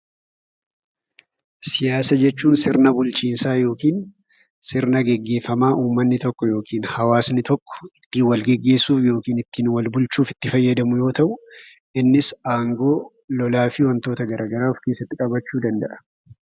Siyaasa jechuun sirna bulchiinsaa yookiin sirna gaggeeffamaa uummanni tokko yookiin hawaasi tokko ittiin walgaggeessuuf yookiin ittiin itti walbulchuuf itti fayyadamu yemmuu ta'u, innis aangoo lolaafi wantoota gara garaa of keessatti qabachuu danda'a.